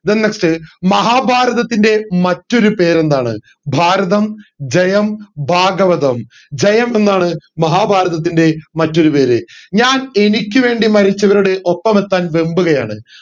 then next മഹാഭാരതത്തിൻറെ മറ്റൊരു പേരെന്താണ് ഭാരതം ജയം ഭാഗവതം ജയം എന്നാണ് മഹാഭാരതത്തിൻറെ മറ്റൊരു പേര് ഞാൻ എനിക്ക് വേണ്ടി മരിച്ചവരുടെ ഒപ്പമെത്താൻ വെമ്പുകയാണ്